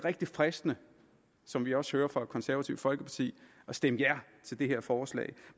fristende som vi også hører fra det konservative folkeparti at stemme ja til det her forslag